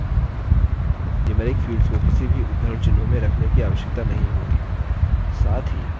numeric fields को किसी भी उद्धरणचिह्नों में रखने की आवश्यकता नहीं होती